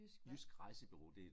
Jysk hvad?